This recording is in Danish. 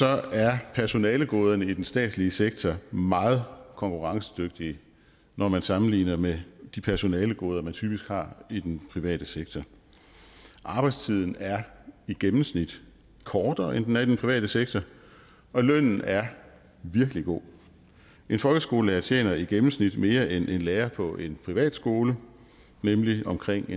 er personalegoderne i den statslige sektor meget konkurrencedygtige når man sammenligner med de personalegoder man typisk har i den private sektor arbejdstiden er i gennemsnit kortere end den er i den private sektor og lønnen er virkelig god en folkeskolelærer tjener i gennemsnit mere end en lærer på en privatskole nemlig omkring